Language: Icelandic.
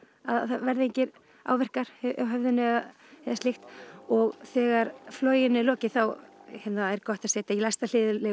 verði engir áverkar á höfðinu eða slíkt og þegar floginu er lokið þá er gott að setja í læsta